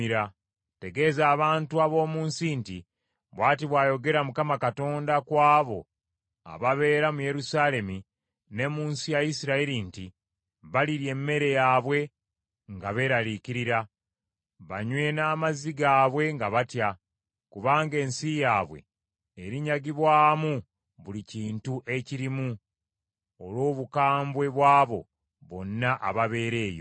Tegeeza abantu ab’omu nsi nti, “Bw’ati bw’ayogera Mukama Katonda ku abo ababeera mu Yerusaalemi ne mu nsi ya Isirayiri nti, Balirya emmere yaabwe nga beeraliikirira, banywe n’amazzi gaabwe nga batya, kubanga ensi yaabwe erinyagibwa mu buli kintu ekirimu, olw’obukambwe bw’abo bonna ababeera eyo.